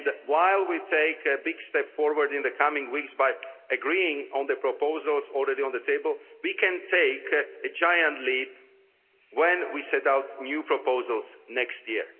While we are taking a big step forward in the coming weeks by agreeing on the proposals already on the table, we can take a giant leap when we set out new proposals next year.